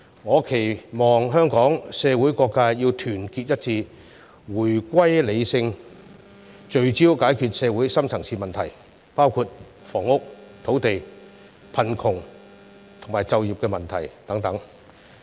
我期望香港社會各界團結一致，回歸理性，聚焦解決社會深層次問題，包括房屋、土地、貧窮及就業問題等。